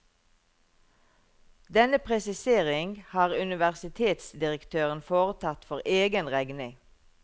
Denne presisering har universitetsdirektøren foretatt for egen regning.